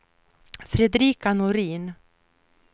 Fredrika Norin